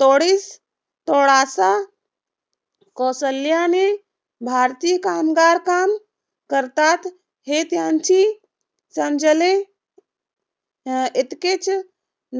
तोडीस तोडाचा कोसल्याने भारतीय कामगार काम करतात, हे त्यांची समजले. इतकेच